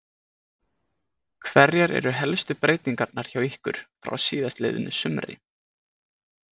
Hverjar eru helstu breytingarnar hjá ykkur frá síðastliðnu sumri?